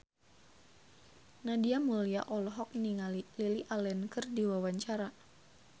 Nadia Mulya olohok ningali Lily Allen keur diwawancara